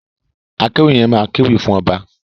Akéwì yẹn máa kéwì fún ọba.